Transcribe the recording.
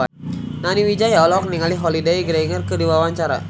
Nani Wijaya olohok ningali Holliday Grainger keur diwawancara